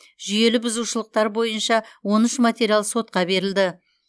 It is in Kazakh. жүйелі бұзушылықтар бойынша он үш материал сотқа берілді